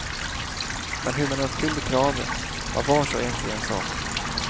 Men hur man uppfyllde kraven var vars och ens ensak.